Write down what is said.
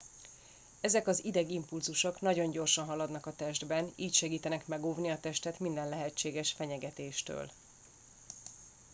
ezek az idegimpulzusok nagyon gyorsan haladnak a testben így segítenek megóvni a testet minden lehetséges fenyegetéstől